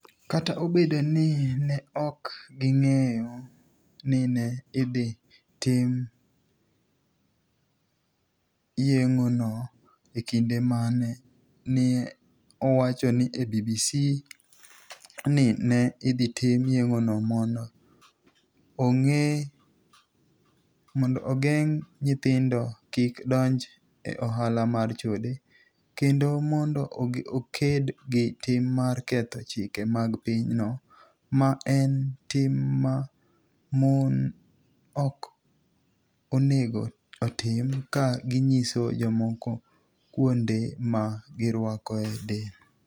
Kata obedo nii ni e ok onig'eyo nii ni e idhi tim yenig'ono e kinide mani e, ni e owacho ni e BBC nii ni e idhi tim yenig'ono monido ogenig ' niyithinido kik donij e ohala mar chode, kenido monido oked gi tim mar ketho chike mag piny no, ma eni tim ma moni ok oni ego otim ka giniyiso jomoko kuonide ma girwakoe del.